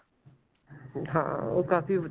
ਹਾਂ ਉਹ ਕਾਫੀ